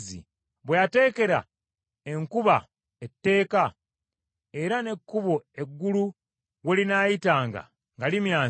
bwe yateekera enkuba etteeka era n’ekkubo eggulu we linaayitanga nga limyansa,